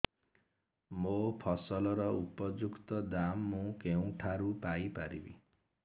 ମୋ ଫସଲର ଉପଯୁକ୍ତ ଦାମ୍ ମୁଁ କେଉଁଠାରୁ ପାଇ ପାରିବି